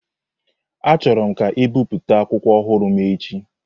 Achọrọm ka e bipụta akwụkwọ ọhụrụ m n'echi!